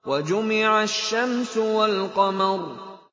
وَجُمِعَ الشَّمْسُ وَالْقَمَرُ